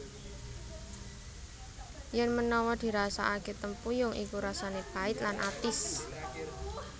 Yèn menawa dirasakakè tempuyung iku rasanè pait lan atis